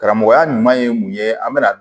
Karamɔgɔya ɲuman ye mun ye an bɛna